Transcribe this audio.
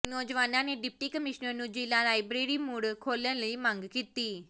ਨੌਜਵਾਨਾਂ ਨੇ deputy commissioner ਨੂੰ ਜਿ਼ਲ੍ਹਾਂ ਲਾਇਬ੍ਰੇਰੀ ਮੁੜ ਖੋਲਣ ਦੀ ਮੰਗ ਕੀਤੀ